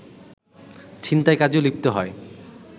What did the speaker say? ছিনতাই কাজেও লিপ্ত হয়